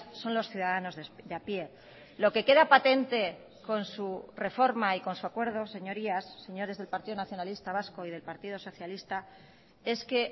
son los ciudadanos de a pie lo que queda patente con su reforma y con su acuerdo señorías señores del partido nacionalista vasco y del partido socialista es que